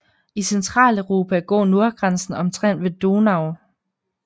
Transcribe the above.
I Centraleuropa går nordgrænsen omtrent ved Donau